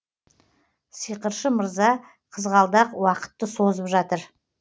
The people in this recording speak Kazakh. сиқыршы мырза қызғалдақ уақытты созып жатыр